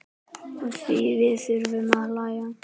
Afþvíað við þurfum að hlæja.